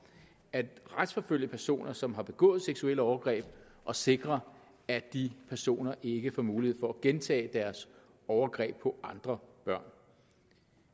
at retsforfølge personer som har begået seksuelle overgreb og sikre at de personer ikke får mulighed for at gentage deres overgreb på andre børn